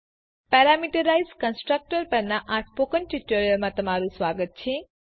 parameterize constructor પરના spoken ટ્યુટોરીયલમાં તમારું સ્વાગત છે